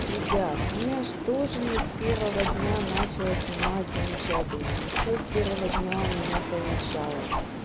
ребят ну я же тоже не с первого дня начала снимать замечательно не все с первого дня у меня получалось